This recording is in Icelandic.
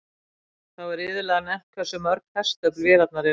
Þá er iðulega nefnt hversu mörg hestöfl vélarnar eru.